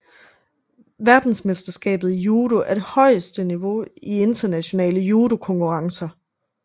Verdensmesterskabet i judo er det højeste niveau i internationale judokonkurrencer